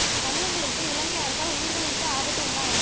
தமிழர்களிற்கு இலங்கை அரசால் உயிர்களிற்கு ஆபத்து உண்டா என